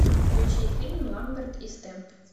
включи фильм ламберт и стэмп